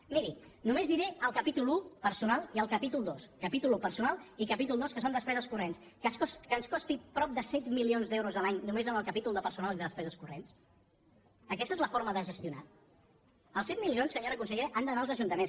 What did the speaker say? miri només diré el capítol un personal i el capítol dos capítol un personal i capítol dos que són despeses corrents que ens costi prop de set milions d’euros a l’any només en el capítol de personal i de despeses corrents aquesta és la forma de gestionar els set milions senyora consellera han d’anar als ajuntaments